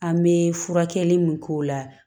An bɛ furakɛli mun k'o la